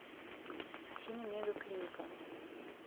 афина мега клиника